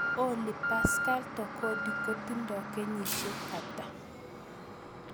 Olly Pascal Tokodi kotindo kenyisiek ata